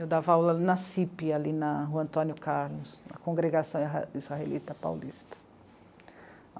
Eu dava aula na cê i pê, ali no Antônio Carlos, na Congregação Israelita Paulista.